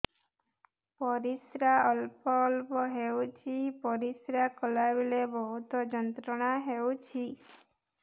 ପରିଶ୍ରା ଅଳ୍ପ ଅଳ୍ପ ହେଉଛି ପରିଶ୍ରା କଲା ବେଳେ ବହୁତ ଯନ୍ତ୍ରଣା ହେଉଛି